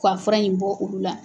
Ko wa fura in bɔ olu la.